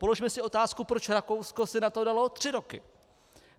Položme si otázku, proč Rakousko si na to dalo tři roky.